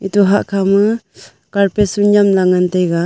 ito hahkha ma carpet su nyamla ngantaiga.